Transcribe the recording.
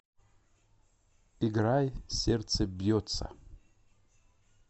играй сердце бьется